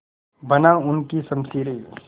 बना उनकी शमशीरें